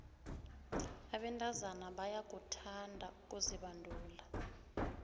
abentazana bayakuthanda ukuzibandula